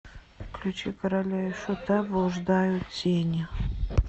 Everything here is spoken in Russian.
включи короля и шута блуждают тени